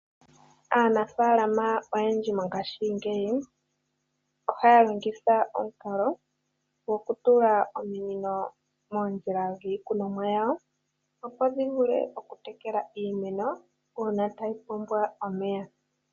Aanafalama oyendji mongashingeyi ohaya longitha omukalo goku tula ominino moondjila dhiikunomwa yawo opo dhi vule okutekela iimeno uuna tayi pumbwa omeya.